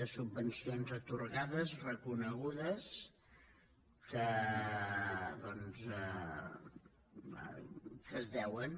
de subvencions atorgades reconegudes que doncs es deuen